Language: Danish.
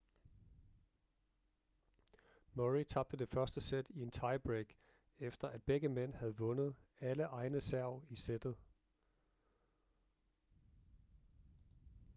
murray tabte det første sæt i en tiebreak efter at begge mænd havde vundet alle egne serv i sættet